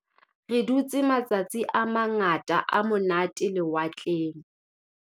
Re dutse matsatsi a mangata a monate lewatleng.